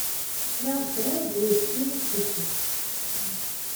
сериал сырое две серии включить